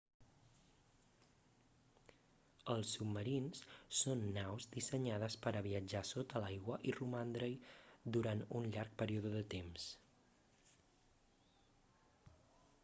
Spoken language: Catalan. els submarins són naus dissenyades per a viatjar sota l'aigua i romandre-hi durant un llarg període de temps